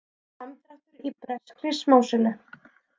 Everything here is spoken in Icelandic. Samdráttur í breskri smásölu